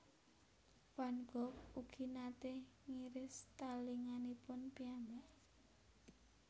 Van Gogh ugi naté ngiris talinganipun piyambak